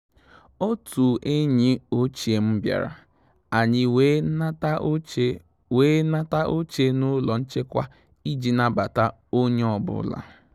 Òtù ényì òchíé m bìàrà, ànyị́ wèé nàtà óché wèé nàtà óché n’ụ́lọ́ nchékwá ìjí nàbàtà ó nyé ọ́bụ́là.